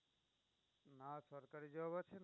আর সরকারি job আছে না।